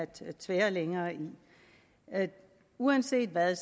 til at tvære længere i uanset hvad